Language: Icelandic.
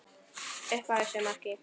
Upp að vissu marki.